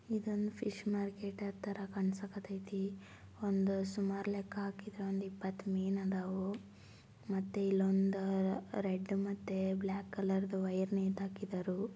ಇದು ಒಂದು fish market ತರ ಕಣ್ನಸಾಕತ್ತೇತಿ ಒಂದ್ ಸುಮಾರ ಲೆಕ್ಕಾ ಹಾಕಿದ್ದ್ರಾ ಒಂದ್ ಇಪ್ಪತ್ತು ಮೀನ್ ಅದವು ಮತ್ತೆ ಇಲ್ಲೊಂದ್ ರೆಡ್ ಮತ್ತೆ ಬ್ಲ್ಯಾಕ್ ಕಲರ್ ವೈಯರ್ ನೇತಾಹಕಿದರೂ.